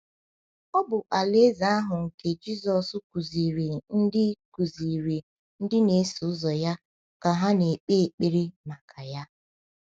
Ọ bụ Alaeze ahụ nke Jisọs kụziiri ndị kụziiri ndị na-eso ya ka ha kpee ekpere maka ya.